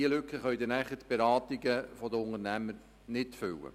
Diese Lücke können nachher die Beratungen der Unternehmer nicht füllen.